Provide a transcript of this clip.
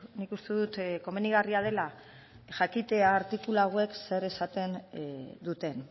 nik uste dut komenigarria dela jakitea artikulu hauek zer esaten duten